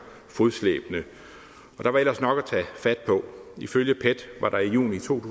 fodslæbende og der var ellers nok at tage fat på ifølge pet var der i juni to